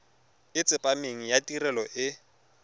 e tsepameng ya tirelo e